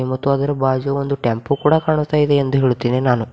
ಮತ್ತು ಅದರ ಬಾಜು ಒಂದು ಟೆಂಪೋ ಕೂಡ ಕಾಣ್ತಾ ಇದೆ ಎಂದು ಹೇಳುತ್ತೇನೆ ನಾನು.